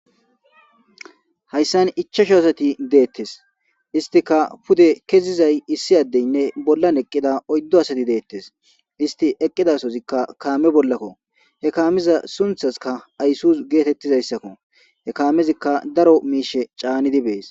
Hayssan ichasho asati deettes istika pude kezizay issi addeynne bollan eqqida oyddo asati deettes isti eqqidasozikka kaame bollakko he kaamiza sunthaska ayssus geetettizayssakko he kaamezikka daro miishe caanidi bees.